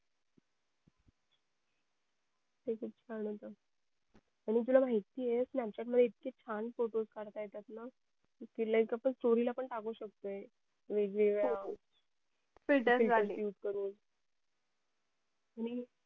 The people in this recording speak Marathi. ते किती छान होत आणि तुला माहिती आहे कि हे snapchat मध्ये इतके छान photo काढता येतात ना कि आपण story ला पण टाकू शकतो वेगवेगळ्या filtures वाले